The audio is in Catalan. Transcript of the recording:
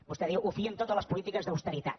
vostè diu ho fien tot a les polítiques d’austeritat